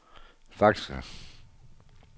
faxer